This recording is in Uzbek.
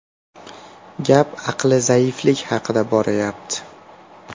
Gap aqli zaiflik haqida borayapti.